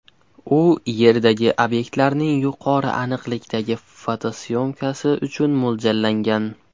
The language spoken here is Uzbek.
U Yerdagi obyektlarning yuqori aniqlikdagi fotosyomkasi uchun mo‘ljallangan.